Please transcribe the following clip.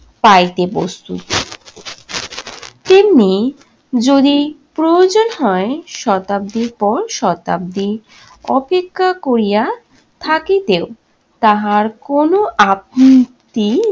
পাইতে প্রস্তুত। তেমনি যদি প্রয়োজন হয় শতাব্দীর পর শতাব্দী অপেক্ষা করিয়া থাকিতেও তাহার কোনো আপ উম ত্তি